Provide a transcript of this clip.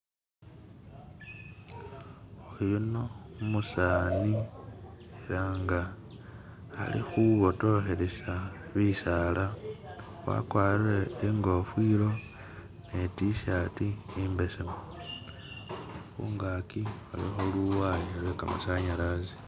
Uyuno umusani nga Ali hubotohelesa bisaala wakwalire ingofilo ne t-shirt imbesemu, hungaki huliho luwaaya lwekamasanyalazi.